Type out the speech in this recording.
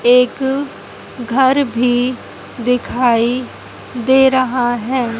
एक घर भी दिखाई दे रहा है।